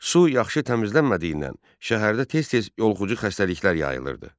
Su yaxşı təmizlənmədiyindən şəhərdə tez-tez yoluxucu xəstəliklər yayılırdı.